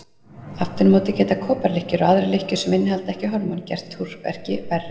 Aftur á móti geta koparlykkjur og aðrar lykkjur sem innihalda ekki hormón gert túrverki verri.